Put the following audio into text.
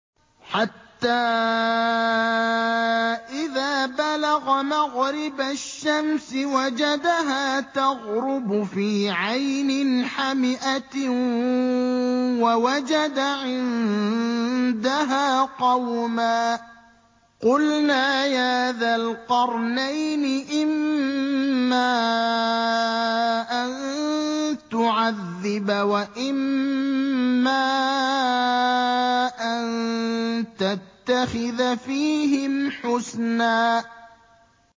حَتَّىٰ إِذَا بَلَغَ مَغْرِبَ الشَّمْسِ وَجَدَهَا تَغْرُبُ فِي عَيْنٍ حَمِئَةٍ وَوَجَدَ عِندَهَا قَوْمًا ۗ قُلْنَا يَا ذَا الْقَرْنَيْنِ إِمَّا أَن تُعَذِّبَ وَإِمَّا أَن تَتَّخِذَ فِيهِمْ حُسْنًا